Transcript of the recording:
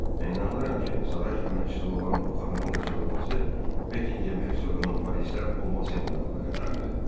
Mən inanıram ki, saray xidmətçisi olan bu xanımın qaçırılması Bekingem hersoqunun Parisdə olması ilə əlaqədardır.